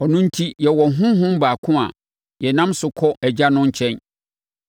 Ɔno enti yɛwɔ Honhom baako a yɛnam no so kɔ Agya no nkyɛn.